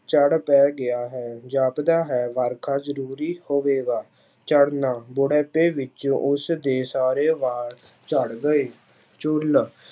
ਚੜ ਪੈ ਗਿਆ ਹੈ ਜਾਪਦਾ ਹੈ ਵਰਖਾ ਜ਼ਰੂਰੀ ਹੋਵੇਗਾ, ਝੜ੍ਹਨਾ, ਬੁੜੇਪੇ ਵਿੱਚ ਉਸਦੇ ਸਾਰੇ ਵਾਲ ਝੜ ਗਏ, ਝੁੱਲ